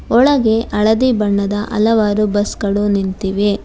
ಒಳಗೆ ಹಳದಿ ಬಣ್ಣದ ಹಲವಾರು ಬಸ್ ಗಳು ನಿಂತಿವೆ.